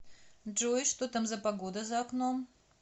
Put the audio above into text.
джой что там за погода за окном